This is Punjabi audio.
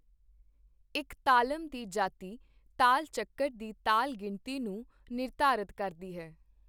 ਇੱਕ ਤਾਲਮ ਦੀ ਜਾਤੀ ਤਾਲ ਚੱਕਰ ਦੀ ਤਾਲ ਗਿਣਤੀ ਨੂੰ ਨਿਰਧਾਰਤ ਕਰਦੀ ਹੈ।